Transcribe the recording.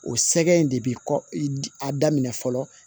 O sɛgɛn in de bi kɔ i daminɛ fɔlɔ